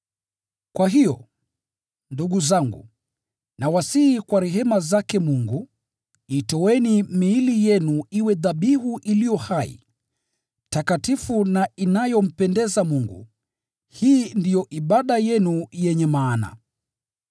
Kwa hiyo, ndugu zangu, nawasihi kwa rehema zake Mungu, itoeni miili yenu iwe dhabihu iliyo hai, takatifu na inayompendeza Mungu, hii ndiyo ibada yenu yenye maana.